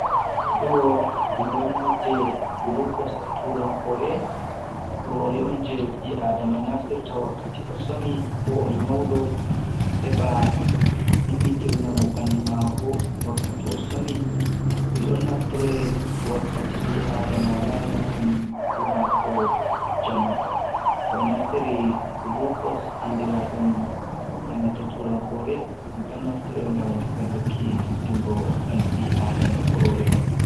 Ɗo on ɗon nodde gulukos e turankore kurori on je ɓi adama naftirta wakkati o somi ko o nyauɗo heɓa ummitirnamo ɓandu mako wakkati eɗo ɗon naftore wakkati bi-adama walanana ɓandu mako jamu ho naftiri gulukos andiraɗum enanta turankure ɗon naftore ngam falluki fittingo ɓandu ɓi-adama kurori.on.